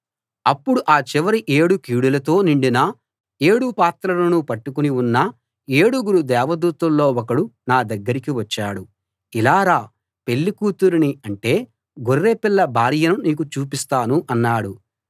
అప్పుడు ఆ చివరి ఏడు కీడులతో నిండిన ఏడు పాత్రలను పట్టుకుని ఉన్న ఏడుగురు దేవదూతల్లో ఒకడు నా దగ్గరికి వచ్చాడు ఇలా రా పెళ్ళి కూతురిని అంటే గొర్రె పిల్ల భార్యను నీకు చూపిస్తాను అన్నాడు